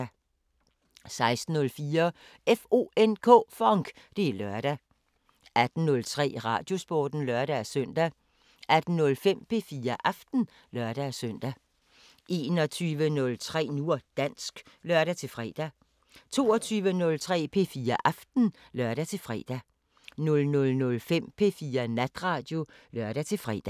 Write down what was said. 16:04: FONK! Det er lørdag 18:03: Radiosporten (lør-søn) 18:05: P4 Aften (lør-søn) 21:03: Nu og dansk (lør-fre) 22:03: P4 Aften (lør-fre) 00:05: P4 Natradio (lør-fre)